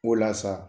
O la sa